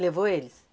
Levou eles?